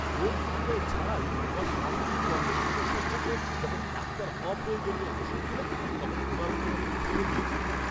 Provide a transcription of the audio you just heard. রোগ নির্ণয় ছাড়াই আমার শাশুড়ির ত্বকের সমস্যার জন্য যখন ডাক্তার অপ্রয়োজনীয় ওষুধ দিলেন তখন ওনার ওপর আমি ক্ষেপে গিয়েছিলাম।